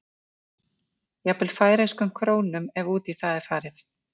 Jafnvel færeyskum krónum ef út í það er farið.